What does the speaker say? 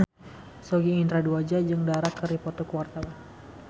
Sogi Indra Duaja jeung Dara keur dipoto ku wartawan